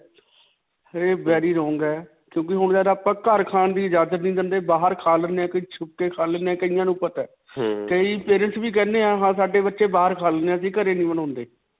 ਇਹ very wrong ਹੈ. ਕਿਉਂਕਿ ਹੁਣ ਜੱਦ ਆਪਾਂ ਘਰ ਖਾਣ ਦੀ ਇਜਾਜਤ ਨਹੀਂ ਦਿੰਦੇ ਬਾਹਰ ਖਾ ਲੈਂਦੇ ਹਾਂ, ਕਈ ਛੁਪ ਕੇ ਖਾ ਲੈਂਦੇ ਹੈ ਕਈਆਂ ਨੂੰ ਪਤਾ ਹੈ ਕਈ parents ਵੀ ਕਹਿੰਦੇ ਹੈ ਹਾਂ ਸਾਡੇ ਬੱਚੇ ਬਾਹਰ ਖਾਂਦੇ ਹੈ ਵੀ ਘਰੇ ਨਹੀਂ ਬਣਾਉਂਦੇ.